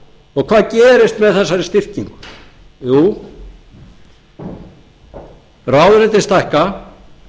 framkvæmdarvaldið hvað gerist með þessari styrkingu jú ráðuneytin stækka